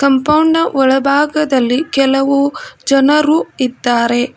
Compound ನ ಒಳಭಾಗದಲ್ಲಿ ಕೆಲವು ಜನರು ಇದ್ದಾರೆ.